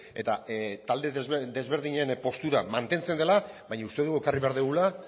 eta talde desberdinen postura mantentzen dela baina uste dugu ekarri behar dugula